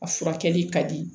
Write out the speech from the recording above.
A furakɛli ka di